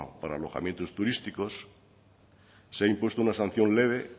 para alojamientos turísticos se ha impuesto una sanción leve